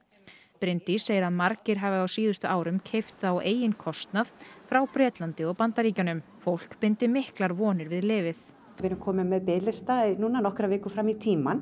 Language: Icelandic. Bryndís segir að margir hafi á síðustu árum keypt það á eigin kostnað frá Bretlandi og Bandaríkjunum fólk bindi miklar vonir við lyfið við erum komin með biðlista núna nokkrar vikur fram í tímann